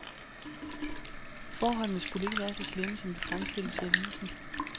Forholdene skulle ikke være så slemme, som det fremstilles i avisen.